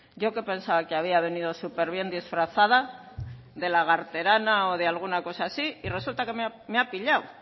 yo que pensaba que había venido súper bien disfrazada de lagarterana o de alguna cosa así y resulta que me ha pillado